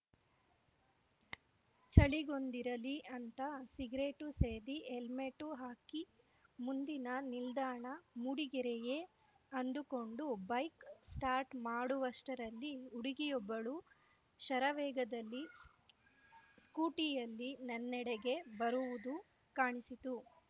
ಚಳಿಗೊಂದಿರಲಿ ಅಂತ ಸಿಗರೇಟು ಸೇದಿ ಹೆಲ್ಮೆಟ್ಟು ಹಾಕಿ ಮುಂದಿನ ನಿಲ್ದಾಣ ಮೂಡಿಗೆರೆಯೇ ಅಂದುಕೊಂಡು ಬೈಕ್‌ ಸ್ಟಾರ್ಟ್‌ ಮಾಡುವಷ್ಟರಲ್ಲಿ ಹುಡುಗಿಯೊಬ್ಬಳು ಶರವೇಗದಲ್ಲಿ ಸ್ಕೂಟಿಯಲ್ಲಿ ನನ್ನೆಡೆಗೆ ಬರುವುದು ಕಾಣಿಸಿತು